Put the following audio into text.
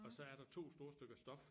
Og så er der to store stykker stof